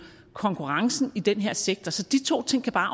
konkurrencen i den her sektor så de to ting kan bare